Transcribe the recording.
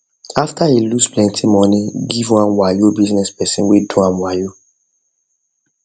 after e lose plenty money give one wayo business person wey do am wayo